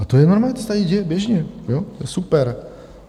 A to je normální, to se tady děje běžně, super.